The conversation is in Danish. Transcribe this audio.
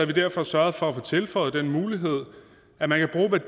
vi derfor sørget for at få tilføjet den mulighed at man kan bruge